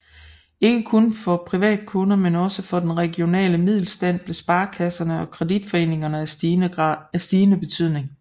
Ikke kun for privatkunder men også for den regionale middelstand blev sparekasserne og kreditforeningerne af stigende betydning